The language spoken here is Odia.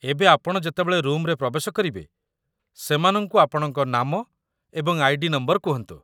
ଏବେ ଆପଣ ଯେତେବେଳେ ରୁମ୍‌ରେ ପ୍ରବେଶ କରିବେ, ସେମାନଙ୍କୁ ଆପଣଙ୍କ ନାମ ଏବଂ ଆଇ.ଡି. ନମ୍ବର କୁହନ୍ତୁ